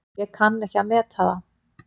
Ég kann ekki að meta það.